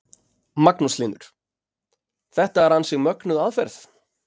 Magnús Hlynur: Þetta er ansi mögnuð aðferð?